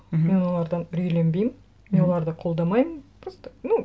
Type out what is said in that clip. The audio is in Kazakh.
мхм мен олардан үрейленбеймін мхм мен оларды қолдамаймын просто ну